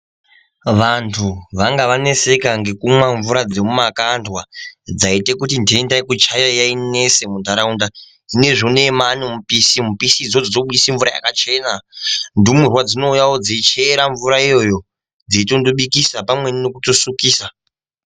Vantu vanga vaneseka ngekumwa mvura dzemumakandwa dzaiite kuti ntenda yekuchaya yainesa muntaraunda zvinezvi uneyi manemupisi mupisi idzodzo dzinounze mvura yakachena, ndumurwa dzinouyawo dzeichera mvura iyoyo dzeitondobikisa pamweni nekutondosukisa.